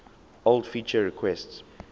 old feature requests